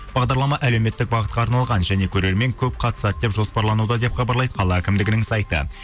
бағдарлама әлеуметтік бағытқа арналған және көрермен көп қатысады деп жоспарлануда деп хабарлайды қала әкімдігінің сайты